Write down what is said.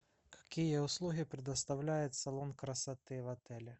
какие услуги предоставляет салон красоты в отеле